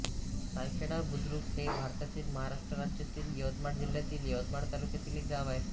सायखेडा बुद्रुक हे भारतातील महाराष्ट्र राज्यातील यवतमाळ जिल्ह्यातील यवतमाळ तालुक्यातील एक गाव आहे